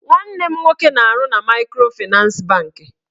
Nwanne m nwoke na-arụ na maịkrofịnans bankị